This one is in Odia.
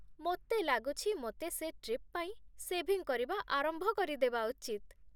ମୋତେ ଲାଗୁଛି ମୋତେ ସେ ଟ୍ରିପ୍ ପାଇଁ ସେଭିଂ କରିବା ଆରମ୍ଭ କରିଦେବା ଉଚିତ ।